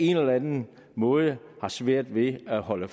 en eller anden måde har svært ved at holde